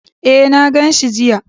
E, na gan shi jiya.